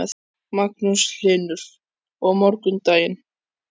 Magnús Hlynur: Og morgundagurinn?